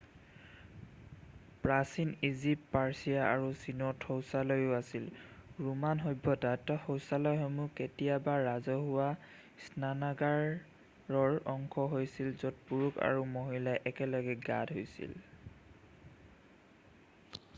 প্ৰাচীন Egypt Persia আৰু চীনত শৌচালয়ো আছিল ৰোমান সভ্যতাত শৌচালয়সমূহ কেতিয়াবা ৰাজহুৱা স্নানাগাৰৰ অংশ হৈছিল য'ত পুৰুষ আৰু মহিলাই একেলগে গা ধূইছিল